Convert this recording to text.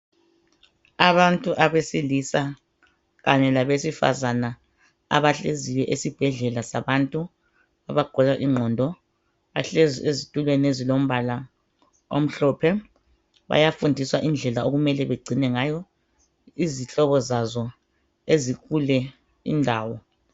Abantu abesilisa kanye labesifazana abahleziyo esibhedlela sabantu abagula ingqondo bahlezi ezitulweni ezilombala omhlophe. Bayafundiswa ngendlela okumele bagcine ngayo izihlobo zazo ezikule indawo.